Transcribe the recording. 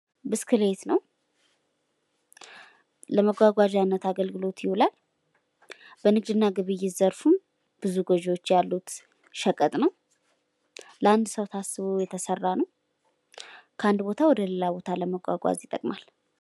ብስክሌት ነው። ለመጓጓዣነት አገልግሎት ይውላል። በንግድ እና ግብይት ዘርፍም ብዙ ገቢዎች ያሉት ሸቀጥ ነው። ለአንድ ሰው ታስቦ የተሰራ ነው። ከአንድ ቦታ ወደሌላ ቦታ ለመጓጓዝ ይጠቅማል።